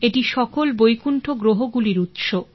এটি সকল বৈকুণ্ঠ গ্রহগুলির উৎস